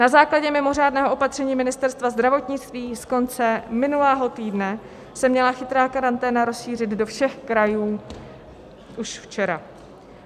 Na základě mimořádného opatření Ministerstva zdravotnictví z konce minulého týdne se měla chytrá karanténa rozšířit do všech krajů už včera.